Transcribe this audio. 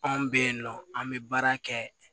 Anw bɛ yen nɔ an bɛ baara kɛ